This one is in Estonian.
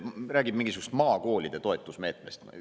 Räägib mingisugusest maakoolide toetusmeetmest.